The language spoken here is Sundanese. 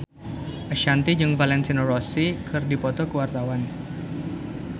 Ashanti jeung Valentino Rossi keur dipoto ku wartawan